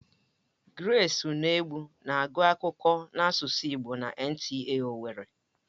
Gresị Unegbu na-agụ akụkọ n'asụsụ igbo na NTA owerri.